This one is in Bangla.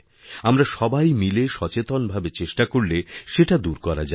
আমরা সবাই মিলে সচেতনভাবে চেষ্টা করলে সেটা দূর করাযাবে